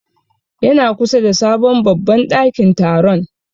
Ya na kusa da sabon babban ɗakin taron.